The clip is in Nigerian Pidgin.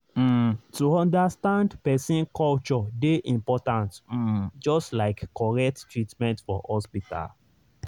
um to understand person culture dey important um just like correct treatment for hospital.